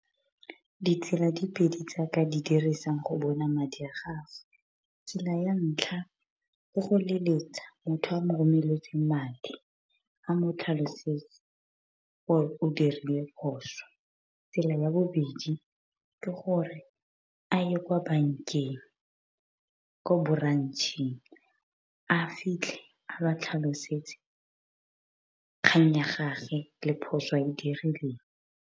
Ditsela di pedi tsaka di dirisang go bona madi a gago, tsela ya ntlha ke go leletsa motho a mo romeletseng madi, a motlhalosetsa gore o dirile phoso. Tsela ya bobedi ke gore a ye kwa bankeng, ko branch a fitlhe a ba tlhalosetse kgang ya gage le phoso a e dirileng.